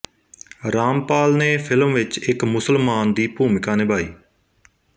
ਰਾਮਪਾਲ ਨੇ ਫਿਲਮ ਵਿੱਚ ਇੱਕ ਮੁਸਲਮਾਨ ਦੀ ਭੂਮਿਕਾ ਨਿਭਾਈ